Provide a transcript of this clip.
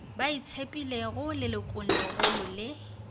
ba itshepilego lelokong legolo le